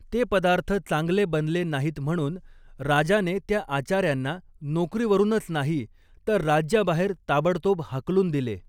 ते पदार्थ चांगले बनले नाहीत म्हणून राजाने त्या आचार्यांना नोकरीवरूनच नाही तर राज्याबाहेर ताबडतोब हाकलून दिले.